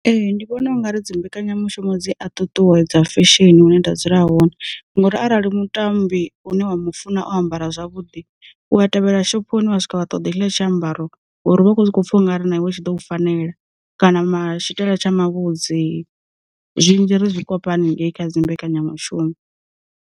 Ee ndi vhona u nga ri dzi mbekanyamushumo dzi a ṱuṱuwedza fesheni hune nda dzula hone, ngori arali mutambi une wa mu funa o ambara zwavhuḓi, u a tevhela shophoni wa swika vha ṱoḓa tshila tshiambaro ngori vha kho soko pfha ungari na iwe tshi ḓo fanela, kana mait tsha mavhudzi, zwinzhi ri zwikopa haningei kha dzi mbekanyamushumo.